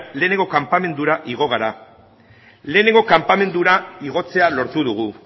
lehenengo kanpamendura igo gara lehenengo kanpamendura igotzea lortu dugu